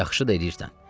Yaxşı da eləyirsən.